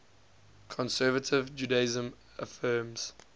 conservative judaism affirms